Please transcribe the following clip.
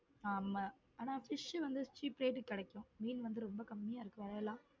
ஆமா ஆனா fish வந்து cheap rate க்கு கிடைக்கும் மீன் வந்து ரொம்ப கம்மியா இருக்கும் விலை எல்லாம்.